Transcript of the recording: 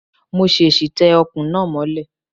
Mo ṣèṣì tẹ Ọ̀kùn náà mọ́lẹ̀